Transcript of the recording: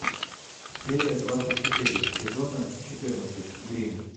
серия двадцать четыре сезона четырнадцать гримм